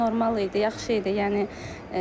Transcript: Suallar normal idi, yaxşı idi, yəni.